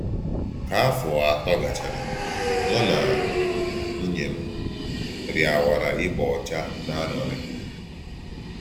Kà áfọ̀ atọ̀ gàchàrā, mù na nwùnyè m rịàwárà íbà ọ́chà n’ànụ́rị.